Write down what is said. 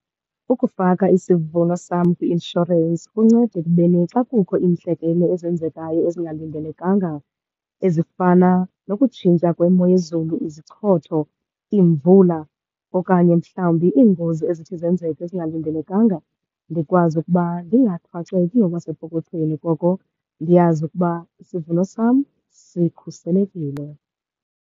Ukufaka isivuno sam kwi-inshorensi kunceda ekubeni xa kukho iintlekele ezenzekayo ezingalindelekanga, ezifana nokutshintsha kwemo yezulu, izichotho, iimvula okanye mhlawumbi iingozi ezithi zenzeke ezingalindelekanga, ndikwazi ukuba ndingaxakeki ngokwasepokothweni. Koko ndiyazi ukuba isivuno sam sikhuselekile.